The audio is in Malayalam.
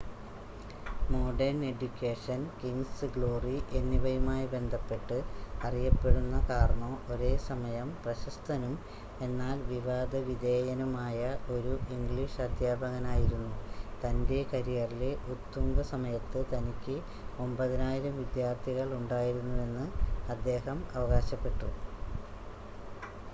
മോഡേൺ എഡ്യുക്കേഷൻ കിംങ്സ് ഗ്ലോറി എന്നിവയുമായി ബന്ധപ്പെട്ട് അറിയപ്പെടുന്ന കാർണോ ഒരേസമയം പ്രശസ്തനും എന്നാൽ വിവാദ വിധേയനുമായ ഒരു ഇംഗ്ലീഷ് അദ്ധ്യാപകനായിരുന്നു തൻ്റെ കരിയറിലെ ഉത്തുംഗ സമയത്ത് തനിക്ക് 9,000 വിദ്യാർത്ഥികൾ ഉണ്ടായിരുന്നുവെന്ന് അദ്ദേഹം അവകാശപ്പെട്ടു